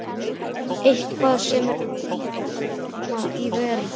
Eitthvað sem er auðvelt að koma í verð.